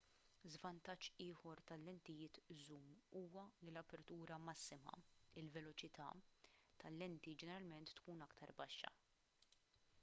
żvantaġġ ieħor tal-lentijiet żum huwa li l-apertura massima il-veloċità tal-lenti ġeneralment tkun aktar baxxa